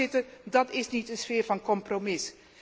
Voorzitter, dat is niet een sfeer van compromis.